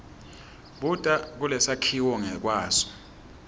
buta kulesakhiwo ngekwaso